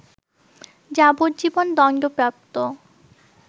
যাবজ্জীবন দণ্ডপ্রাপ্ত